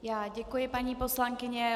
Já děkuji, paní poslankyně.